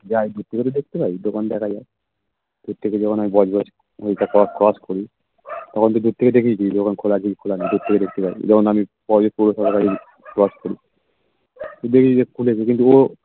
যাই দূর থেকে তো দেখতে পাই দোকান দেখা যায় দূর থেকে যখন আমি বজবজ ওটা আমি cross করি তখন তো দূর থেকে দেখেই নিই দোকান খোলা আছে কি দূর থেকে দেখে নিই যেমন যখন আমি পৌরসভা cross করি দূরেই দেখতে থাকি ও